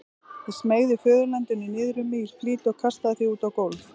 Ég smeygði föðurlandinu niður um mig í flýti og kastaði því út á gólf.